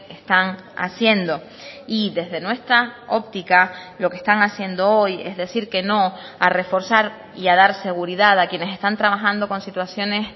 están haciendo y desde nuestra óptica lo que están haciendo hoy es decir que no a reforzar y a dar seguridad a quienes están trabajando con situaciones